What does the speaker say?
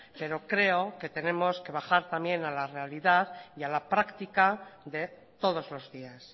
pero creo que tenemos que bajar también a la realidad y a la práctica de todos los días